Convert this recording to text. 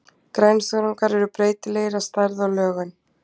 Grænþörungar eru breytilegir að stærð og lögun.